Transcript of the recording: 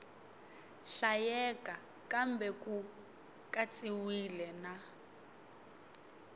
hlayeka kambe ku katsiwile na